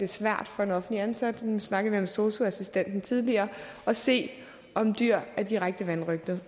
svært for en offentligt ansat nu snakkede vi om sosu assistenten tidligere at se om dyr er direkte vanrøgtede